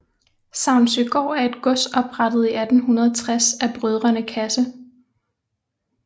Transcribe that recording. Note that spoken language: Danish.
Savnsøgård er et gods oprettet i 1860 af brødrene Casse